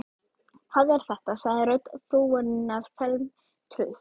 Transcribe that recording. Hvað er þetta? sagði rödd frúarinnar felmtruð.